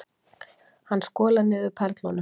Hann skolar niður perlunum.